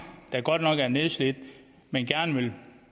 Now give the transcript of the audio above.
der godt nok er nedslidt men gerne vil